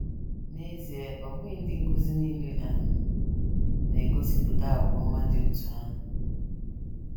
N’ezie, ọ bụghị ndị nkụzi nile um na - egosipụta àgwà ọma dị otú ahụ.